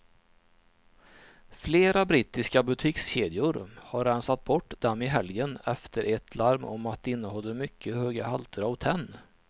Flera brittiska butikskedjor har rensat bort dem i helgen efter ett larm om att de innehåller mycket höga halter av tenn.